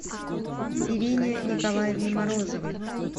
ирине николаевне морозовой